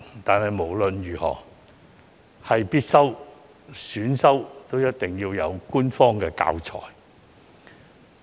但是，無論是必修科或選修科，通識科都一定要有官方教材。